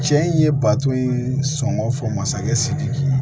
Cɛ in ye bato in sɔngɔ fɔ masakɛ sidiki